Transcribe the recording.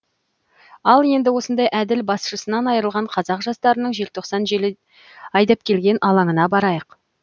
ал енді осындай әділ басшысынан айырылған қазақ жастарының желтоқсан желі айдап келген алаңына барайық